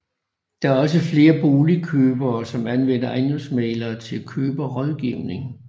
Der er også flere boligkøbere som anvender ejendomsmæglere til køberrådgivning